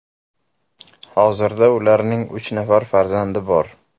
Hozirda ularning uch nafar farzandi bor.